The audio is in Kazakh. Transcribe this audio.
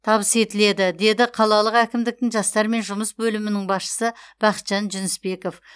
табыс етіледі деді қалалық әкімдіктің жастармен жұмыс бөлімінің басшысы бақытжан жүнісбеков